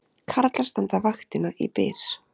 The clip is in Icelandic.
Karlar standa vaktina í Byr